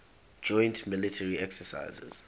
joint military exercises